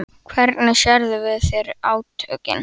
Hvernig sérðu fyrir þér átökin?